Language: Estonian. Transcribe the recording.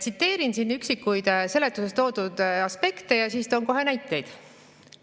Tsiteerin siin üksikuid seletus toodud aspekte ja siis toon kohe näiteid.